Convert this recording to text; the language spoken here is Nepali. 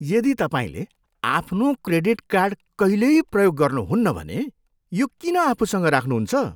यदि तपाईँले आफ्नो क्रेडिट कार्ड कहिल्यै प्रयोग गर्नुहुन्न भने यो किन आफूसँग राख्नुहुन्छ?